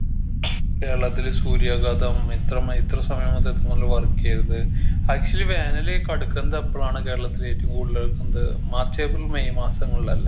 കേരളത്തില് സൂര്യാഘാതം ഇത്ര മൈ ഇത്ര സമയം മുതൽ phone ല് work എയ്യരുത് actually വേനല് കടുക്കുന്നത് എപ്പളാണ് കേരളത്തില് ഏറ്റും കൂടുതല് എന്ത് മാർച്ച് ഏപ്രിൽ മെയ് മാസങ്ങളിലല്ലേ